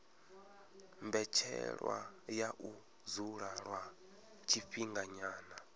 mbetshelwa ya u dzula lwa tshifhinganyana